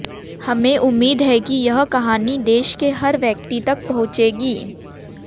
हमें उम्मीद है कि यह कहानी देश के हर व्यक्ति तक पहुंचेगी